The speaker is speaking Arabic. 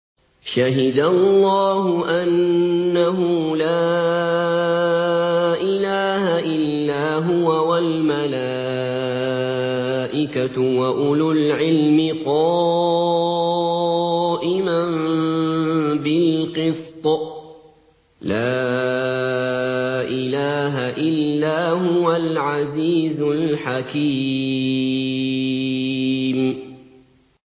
شَهِدَ اللَّهُ أَنَّهُ لَا إِلَٰهَ إِلَّا هُوَ وَالْمَلَائِكَةُ وَأُولُو الْعِلْمِ قَائِمًا بِالْقِسْطِ ۚ لَا إِلَٰهَ إِلَّا هُوَ الْعَزِيزُ الْحَكِيمُ